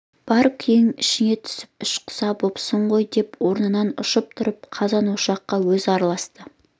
бар күйігің ішіде түсіп іш-құса бопсың ғой деп орнынан ұшып тұрып қазан-ошаққа өзі араласты